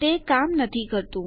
તે કામ નથી કરતું